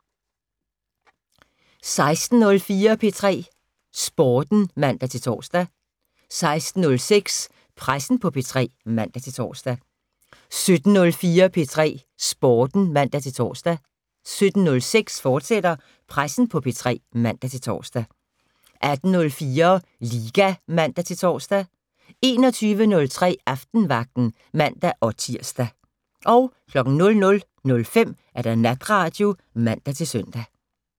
16:04: P3 Sporten (man-tor) 16:06: Pressen på P3 (man-tor) 17:04: P3 Sporten (man-tor) 17:06: Pressen på P3, fortsat (man-tor) 18:04: Liga (man-tor) 21:03: Aftenvagten (man-tir) 00:05: Natradio (man-søn)